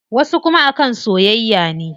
Wasu kuma a kan soyayya ne.